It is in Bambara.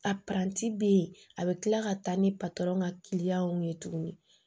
A bɛ yen a bɛ kila ka taa ni patɔrɔn ka ye tuguni